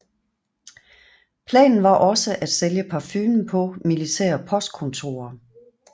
Planen var også at sælge parfumen på militære postkontorer